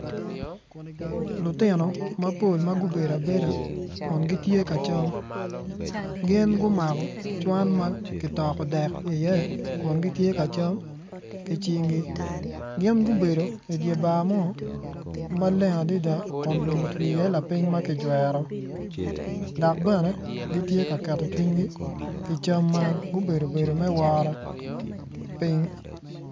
Lutino mapol ma gubedo abeda kun gitye ka cam gin gumako cwan ma kitoko dek iye kun gitye ka cam ki cnggi gin gubedo idye bar mo maleng adada kun lum otwi iye lapiny ma kijwero dok bene gitye ka keto cwinygi ki cam man gubedo bedo me woro piny.